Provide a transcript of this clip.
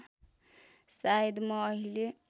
शायद म अहिले